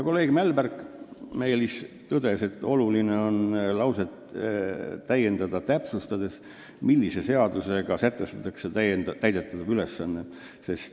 Kolleeg Meelis Mälberg tõdes, et oluline on seda lauset täiendada, täpsustades, millise seadusega sätestatakse täidetav ülesanne.